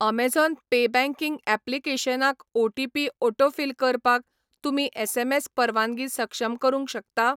Amazon pay banking ऍप्लिकेशनाक OTP autofill करपाक तुमी एसएमएस परवानगी सक्षम करूंक शकता?